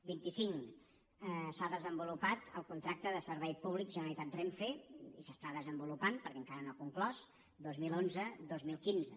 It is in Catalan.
vint i cinc s’ha desenvolupat el contracte de servei públic generalitat renfe i s’està desenvolupant perquè encara no ha conclòs dos mil onze dos mil quinze